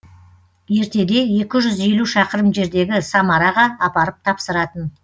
ертеде екі жүз елу шақырым жердегі самараға апарып тапсыратын